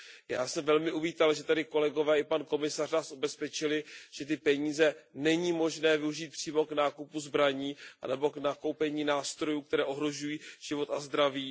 Já jsem velmi uvítal, že kolegové i pan komisař nás ubezpečili, že ty peníze není možné využít přímo k nákupu zbraní nebo k nakoupení nástrojů, které ohrožují život a zdraví.